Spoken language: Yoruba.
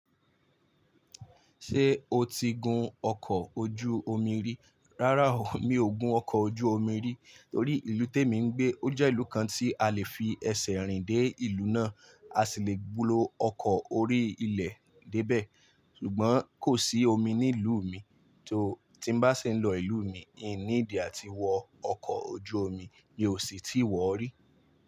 Ṣé o ti gun ọkọ̀ ojú omi rí? Rárá o, mi ò gun ọkọ̀ ojú omi rí torí ìlú tè mi ń gbé ó jẹ́ ìlú kan tí a lè fi ẹsẹ̀ rìn dé ìlú náà, a sì le lo ọkọ̀ orí ilẹ̀ dé bẹ̀. Ṣùgbọ́n kò sí omi ní ìlú mi, tó ti ń bá ṣi ń lọ ìlú mi, ì níídi àti wọ ọkọ̀ ojú omi, mi ó sì ti wọ́ rí.